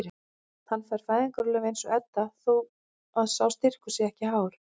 Hann fær fæðingarorlof eins og Edda þó að sá styrkur sé ekki hár.